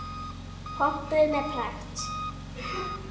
Pompuð með pragt.